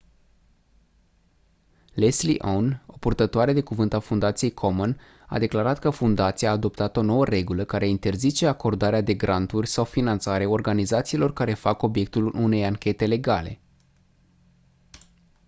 leslie aun o purtătoare de cuvânt a fundației komen a declarat că fundația a adoptat o nouă regulă care interzice acordarea de granturi sau finanțare organizațiilor care fac obiectul unei anchete legale